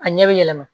A ɲɛ bɛ yɛlɛma